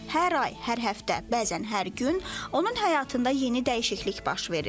Hər ay, hər həftə, bəzən hər gün onun həyatında yeni dəyişiklik baş verir.